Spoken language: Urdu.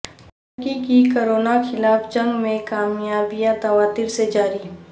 ترکی کی کورونا خلاف جنگ میں کامیابیاں تواترسے جاری